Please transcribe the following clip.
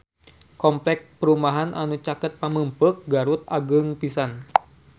Kompleks perumahan anu caket Pamengpeuk Garut agreng pisan